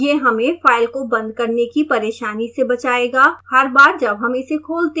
यह हमें फ़ाइल को बंद करने की परेशानी से बचाएगा हर बार जब हम इसे खोलते हैं